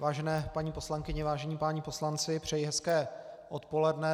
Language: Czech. Vážené paní poslankyně, vážení páni poslanci, přeji hezké odpoledne.